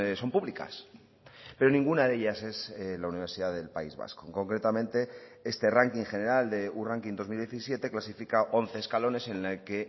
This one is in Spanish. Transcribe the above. son públicas pero ninguna de ellas es la universidad del país vasco concretamente este ranking general de u ranking dos mil diecisiete clasifica once escalones en la que